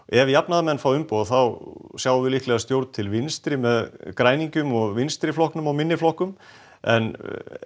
ef jafnaðarmenn fá umboð þá sjáum við líklega stjórn til vinstri með Græningjum Vinstri flokknum og minni flokkunum en